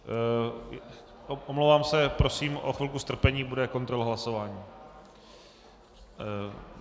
Omlouvám se, prosím o chvilku strpení, bude kontrola hlasování.